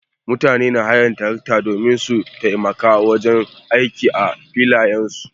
Mutane na haya na tarakta domin su taimaka wajen aiki a filayen su.